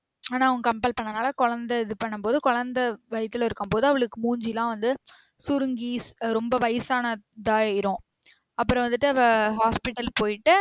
ஆனா அவன் compel பன்னனால கொழந்த இது பண்ணும் போது கொழந்தை வயித்துல இருக்கும் போது அவளுக்கு மூஞ்சிலாம் வந்து சுருங்கி ரொம்ப வயசானதாயிரம் அப்ரோ வந்திட்டு அவ hospital போயிட்டு